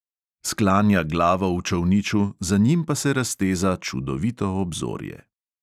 Sklanja glavo v čolniču, za njim pa se razteza čudovito obzorje.